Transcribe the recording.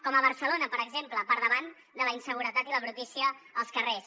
com a barcelona per exemple per davant de la inseguretat i la brutícia als carrers